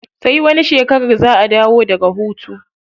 Sai wani shekarar za a dawo daga hutu.